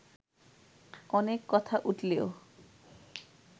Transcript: অনেক কথা উঠলেও